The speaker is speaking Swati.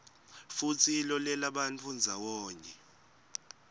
futsi ilolelabantfu ndzawonye